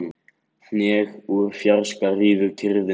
Hnegg úr fjarska rýfur kyrrðina.